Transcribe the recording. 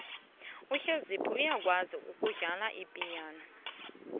ngiyakwazi ukudlala ipiyano